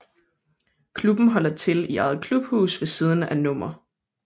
Klubben holder til i eget klubhus ved siden af Nr